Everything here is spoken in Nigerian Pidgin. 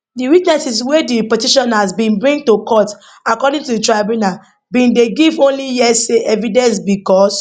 di witnesses wey di petitioners bin bring to court according to di tribunal bin dey give only hearsay evidence bicos